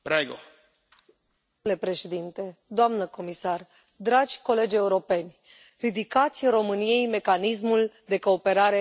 Domnule președinte, doamnă comisar, dragi colegi europeni, ridicați României mecanismul de cooperare și verificare.